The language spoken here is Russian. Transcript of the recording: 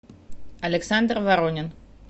александр воронин